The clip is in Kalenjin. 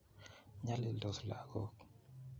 nyaliltos lagok